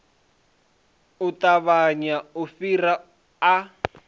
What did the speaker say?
u ṱavhanya u fhira a